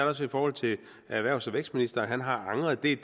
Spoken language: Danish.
også i forhold til erhvervs og vækstministeren han har angret det er